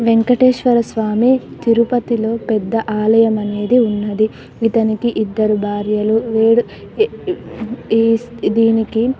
వెంకటేశ్వర స్వామి తిరుపతిలో పెద్ద ఆలయం అనేది ఉన్నది ఇతనికి ఇద్దరు భార్యలు వేరు ఏ దీనికి --